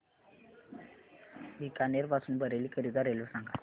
बीकानेर पासून बरेली करीता रेल्वे सांगा